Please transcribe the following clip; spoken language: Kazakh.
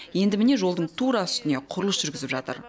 енді міне жолдың тура үстіне құрылыс жүргізіп жатыр